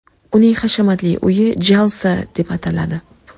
Uning hashamatli uyi Jalsa deb ataladi.